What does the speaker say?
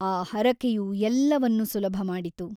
ಆ ಹರಕೆಯು ಎಲ್ಲವನ್ನೂ ಸುಲಭ ಮಾಡಿತು.